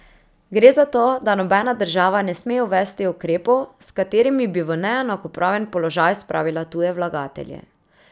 Gre zato, da nobena država ne sme uvesti ukrepov, s katerimi bi v neenakopraven položaj spravila tuje vlagatelje.